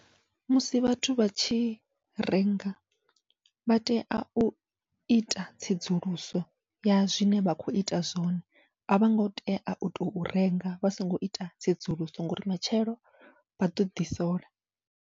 Musi vhathu vhatshi renga vha tea uita tsedzuluso ya zwine vha kho ita zwone, avhongo tea uto renga vha songo ita tsedzuluso ngauri matshelo vha ḓoḓi sola.